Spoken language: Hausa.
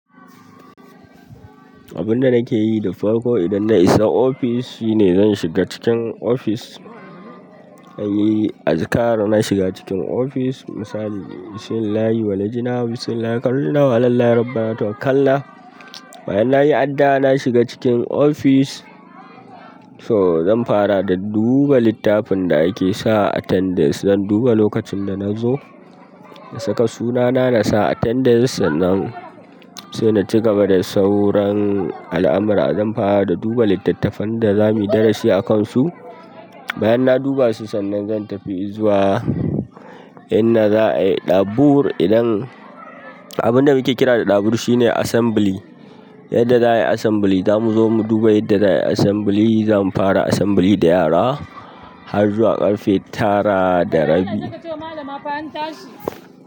Abin da nake yi da farko idan na isa ofis shine zan shiga cikin ofis, zan yi azkar na shiga cikin ofis. Misali, Bismillahir walajna. Bismillahi harajna, walhamdulillahi rabbana tawakalnah. Bayan nayi addu'a, na shiga cikin ofis. So zan fara da duba littafin da ake sa attendance. Zan duba lokacin da na zo, na saka sunana na sa attendance. Sannan sai na ci gaba da sauran al'amura. Zan fara da duba littattafan da zamu yi darasi a kansu. Bayan na duba su sannan zantafi inda za'a yi dabur abin da muke kira da ɗabur shine assembly. Inda za a yi assembly, zamu zo mu duba inda za a yi assembly. Zamu fara assembly da yara har zuwa ƙarfe tara da rabi. Je ka ce ma malama an tashi.